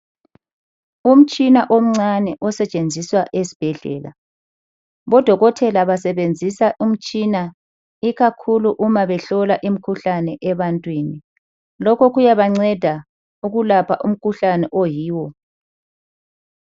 Umtshina omncane osetshenziswa esibhedlela. Odokotela basebenzisa umtshina ikakhulu uma behlola imikhuhlane ebantwini. Lokho kuyabanceda ukulapha umkhuhlane oyiwo.